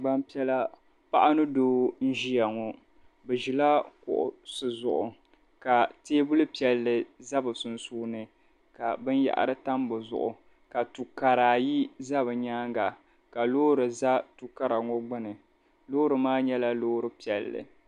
Gbampiɛla paɣa ni doo n-ʒia ŋɔ. Bɛ ʒila kuɣisi zuɣu ka teebuli piɛlli za bɛ sunsuuni ka binyɛhari tam di zuɣu ka du' kara ayi za bɛ nyaaŋga ka loori za du' kara ŋɔ gbini. Loori maa nyɛla loori piɛlli.